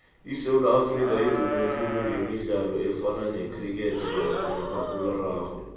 isewula afrika idume khulu gemidlalo efana necriketrugbymakhakulararhwe